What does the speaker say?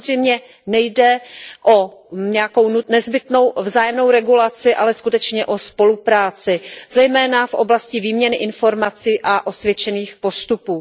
Samozřejmě nejde o nějakou nezbytnou vzájemnou regulaci, ale skutečně o spolupráci, zejména v oblasti výměny informací a osvědčených postupů.